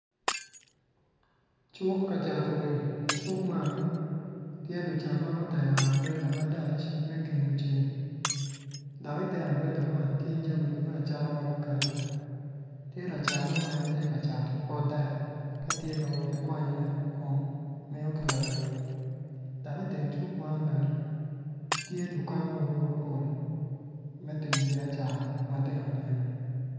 Cuk kacato wil icuk man tye lucat ma gutero ambrela malac me gengo ceng dok ite ambrela man tye jamigi me acata ma guketo tye lacat mo ma en tye kacato pot dek katye kawot ki kwanyone kun kun miyo ki lawil dok iteng cuk man bene tye dukan mogo mapol me timo biacara mogo matino tino